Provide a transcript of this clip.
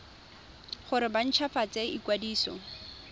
gore ba nt hwafatse ikwadiso